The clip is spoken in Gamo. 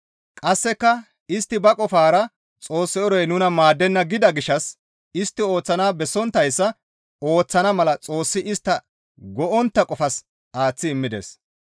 Qasseka istti ba qofara Xoos eroy nuna maaddenna gida gishshas istti ooththanaas bessonttayssa ooththana mala Xoossi istta go7ontta qofas aaththi immides.